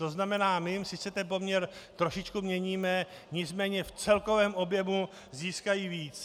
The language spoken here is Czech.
To znamená, my jim sice ten poměr trošičku měníme, nicméně v celkovém objemu získají víc.